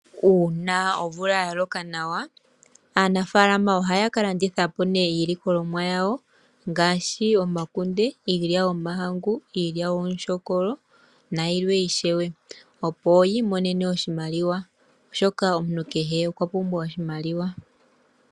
Uuna omvula ya loka nawa aanafaalama ohaya ka landitha po nee iilikolonwa yawo ngaashi omakunde iilya yomahangu iilya yomutyokolo opo yi imonene oshimaliwa oshoka omuntu kehe okwa pumbwa oshimaliwa.